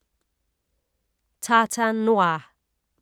Tartan noir